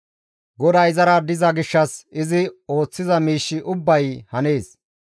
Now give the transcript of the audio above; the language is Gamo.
GODAY izara diza gishshas izi ooththiza miishshi ubbay hanees.